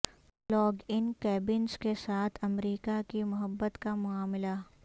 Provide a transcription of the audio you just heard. log in cabins کے ساتھ America کی محبت کا معاملہ